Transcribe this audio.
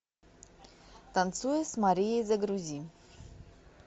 танцуя с марией загрузи